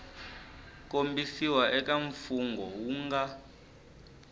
kombisiwa eka mfungho wu nga